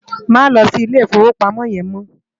Má lò si Ilé Ifówópámò yèn mò